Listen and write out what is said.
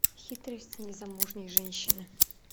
хитрость незамужней женщины